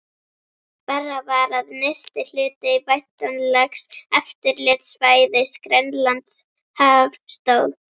Verra var, að nyrsti hluti væntanlegs eftirlitssvæðis, Grænlandshaf, stóð